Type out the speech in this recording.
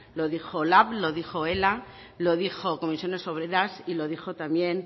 lo dijo lab lo dijo ela lo dijo comisiones obreras y lo dijo también